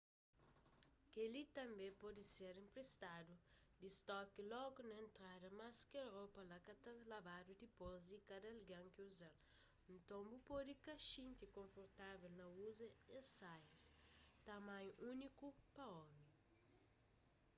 kel-li tanbê pode ser enpristadu di stoki logu na entrada mas kel ropa la ka ta labadu dipôs di kada algen ki uza-l nton bu pode ka xinti konfortavel na uza es saias tamanhu úniku pa omi